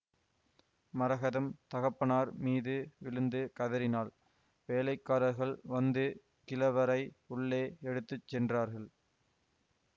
மரகதம் தகப்பனார் மீது விழுந்து கதறினாள் வேலைக்காரர்கள் வந்து கிழவரை உள்ளே எடுத்து சென்றார்கள்